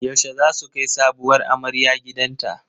Yaushe zasu kai sabuwar amarya gidanta?